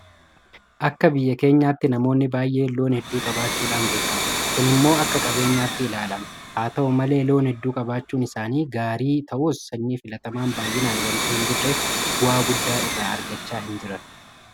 Akka biyya keenyaatti namoonni baay'een loon hedduu qabaachuudhaan beekamu. Kun immoo akka qabeenyaatti ilaalama. Haata'u malee loon hedduu qabaachuun isaanii gaarii ta'us sanyii filatamaan baay'inaan waanta hinjirreef bu'aa guddaa irraa argachaa hinjiran